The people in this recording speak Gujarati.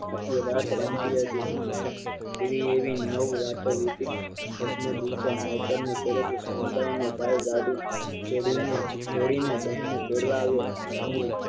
આખી રાત રમાતી હતી સ્ત્રી એવી નવ રાતો રામતીએ દસ મેં દિવસે માવતર ને શરતે સમજાવી કહે ગાડી ચડી ને ગડીને બહેન ને ટેડી આવ અને